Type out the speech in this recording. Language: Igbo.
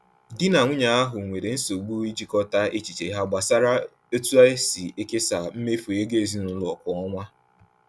Di na nwunye ahụ nwere nsogbu ijikọta echiche ha gbasara otu esi ekesa mmefu ego ezinụlọ kwa ọnwa.